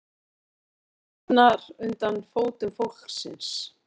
Íslandið rifnar undir fótum fólksins